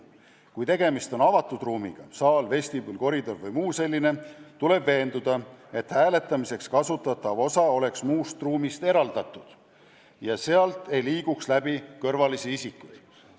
Kui tegemist on avatud ruumiga , tuleb veenduda, et hääletamiseks kasutatav osa oleks muust ruumist eraldatud ja et sealt ei liiguks läbi kõrvalisi isikuid.